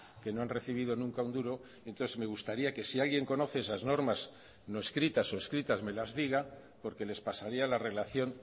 que no han recibido nunca un duro entonces me gustaría que si alguien conoce esas normas no escritas o escritas me las diga porque les pasaría la relación